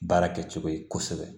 Baara kɛcogo ye kosɛbɛ